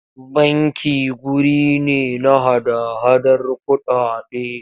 Banki wuri ne na hada-hadar kuɗaɗe.